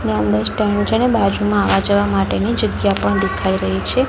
અને અંદર સ્ટેન્ડ છે ને બાજુમાં આવવા જવા માટે ની જગ્યા પણ દેખાઈ રહી છે.